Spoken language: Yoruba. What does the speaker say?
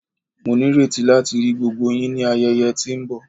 Mo nireti lati ri gbogbo yin ni ayẹyẹ ti nbọ